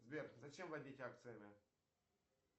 сбер зачем вводить акцизы